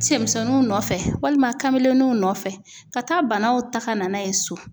Cɛmisɛnninw nɔfɛ, walima kamelenniw nɔfɛ ka taa banaw ta ka na n'a ye so.